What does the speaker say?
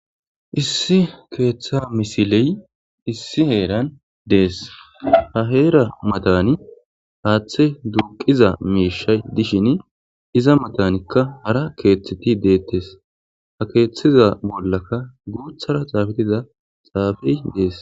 issi keeththa misiley issi heeran dees ha heera matani haaththe duuqiza mishshay dishin iza matanikka hara keeththeti dettees ha keeththeza bollaka guuthara xomfiza xaafey dees